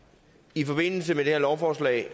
i forbindelse med det her lovforslag